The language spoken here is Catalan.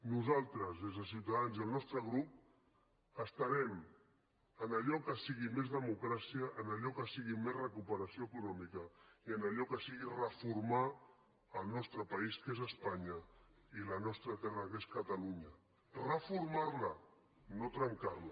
nosaltres des de ciutadans i el nostre grup estarem en allò que sigui més democràcia en allò que sigui més recuperació econòmica i en allò que sigui reformar el nostre país que és espanya i la nostra terra que és catalunya reformar la no trencar la